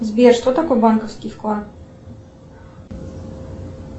сбер что такое банковский вклад